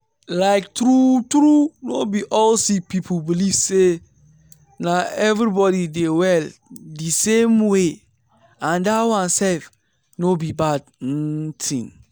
like true true no be all sick people believe say na everybody dey well di same way and dat one sef no be bad um tin.